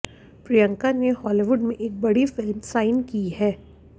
प्रियंका ने हॉलीवुड में एक बड़ी फिल्म साइन की है